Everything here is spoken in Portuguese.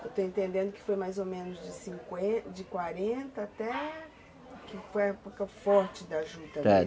Eu estou entendendo que foi mais ou menos de cinquen, de quarenta até que foi a época forte da juta, é.